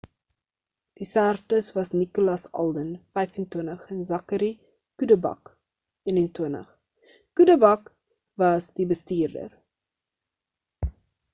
die sterftes was nicolas alden 25 en zachary cuddeback 21 cuddeback was die bestuurder